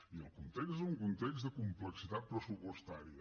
i el context és un context de complexitat pressupostària